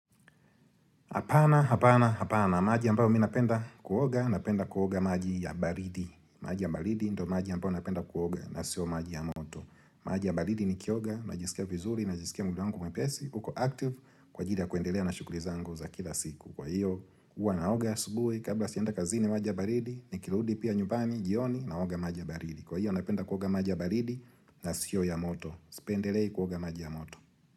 Hapana, hapana, hapana, maji ambayo mimi napenda kuoga, napenda kuoga maji ya baridi. Maji ya baridi ndio maji ambayo napenda kuoga na siyo maji ya moto. Maji ya baridi nikioga, najisikia vizuri, najisikia mwili wangu mwepesi, uko active, kwa anjili ya kuendelea na shughuli zangu za kila siku. Kwa hiyo, huwa naoga asubuhi, kabla sijaenda kazini maji ya baridi, nikirudi pia nyumbani jioni, naoga maji baridi. Kwa hiyo, napenda kuoga maji ya baridi, na sio ya moto. Sipendelei kuoga maji ya moto.